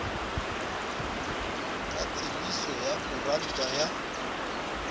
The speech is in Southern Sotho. ka tsebiso ya koranta ya